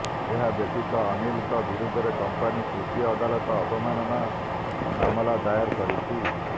ଏହା ବ୍ୟତୀତ ଅନିଲଙ୍କ ବିରୋଧରେ କଂପାନି ତୃତୀୟ ଅଦାଲତ ଅବମାନନା ମାମଲା ଦାୟର କରିଛି